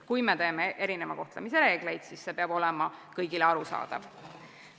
Kui me teeme erineva kohtlemise reegleid, siis see peab olema kõigile arusaadav.